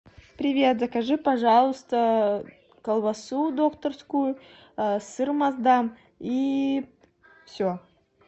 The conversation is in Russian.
привет закажи пожалуйста колбасу докторскую сыр маасдам и все